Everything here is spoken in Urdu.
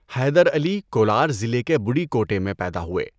حیدر علی کولار ضلع کے بُڈیکوٹے میں پیدا ہوئے۔